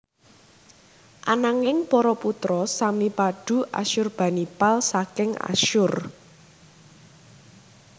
Ananging para putra sami padu Asyurbanipal saking Asyur